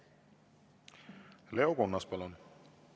Leo Kunnas, palun!